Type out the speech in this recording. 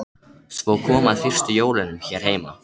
Svo kom að fyrstu jólunum hér heima.